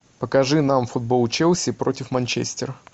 покажи нам футбол челси против манчестера